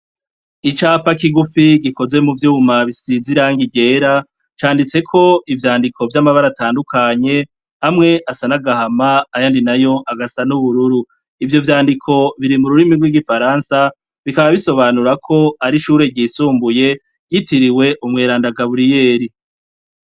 Icapa kigufi gikoze muvyuma bisize irangi ryera canditseko ivyandiko vyamabara atandukanye amwe asa nagahama ayandi nayo agasa n’ubururu. Ivyo vyandiko biri mururimi rw'Igifaransa bikaba bisobanura ko ari ishure ryisumbuye ryitiriwe umweranda Gaburiyeri.